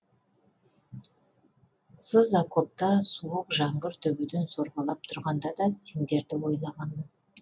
сыз окопта суық жаңбыр төбеден сорғалап тұрғанда да сендерді ойлағанмын